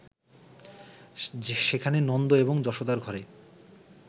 সেখানে নন্দ এবং যশোদার ঘরে